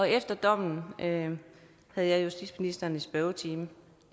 efter dommen havde jeg justitsministeren i spørgetime